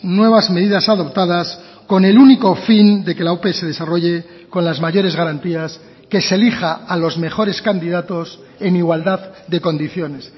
nuevas medidas adoptadas con el único fin de que la ope se desarrolle con las mayores garantías que se elija a los mejores candidatos en igualdad de condiciones